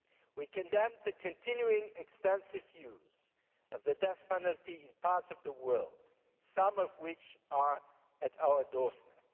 We condemn the continuing extensive use of the death penalty in parts of the world some of which are at our doorstep.